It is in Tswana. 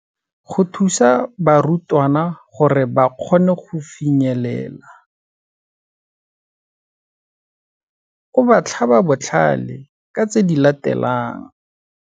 Go thusa barutwana gore ba kgone go finyelela, o ba tlhaba botlhale ka tse di latelang.